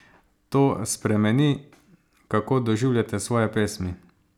To spremeni, kako doživljate svoje pesmi?